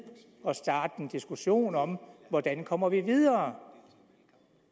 at starte en diskussion om hvordan vi kommer videre